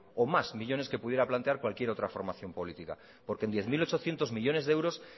o más millónes que pudiera plantear cualquier otra formación política porque en diez mil ochocientos millónes de euros